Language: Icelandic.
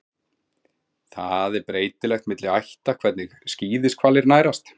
Það er breytilegt milli ætta hvernig skíðishvalir nærast.